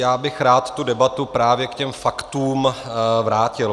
Já bych rád tu debatu právě k těm faktům vrátil.